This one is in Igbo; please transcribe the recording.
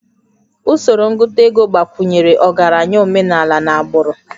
Usoro ngụta ego gbakwunyere ọgaranya omenala n'agbụrụ